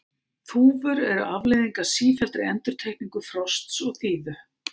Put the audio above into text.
þúfur eru afleiðing af sífelldri endurtekningu frosts og þíðu